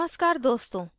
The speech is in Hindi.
नमस्कार दोस्तों